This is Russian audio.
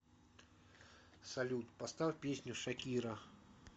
салют поставь песню шакира